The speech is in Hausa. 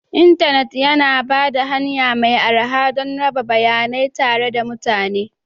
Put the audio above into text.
Intanit yana ba da hanya mai arha don raba bayanai tare da mutane